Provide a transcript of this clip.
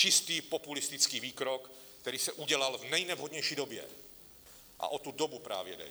Čistý populistický výkrok, který se udělal v nejnevhodnější době, a o tu dobu právě jde.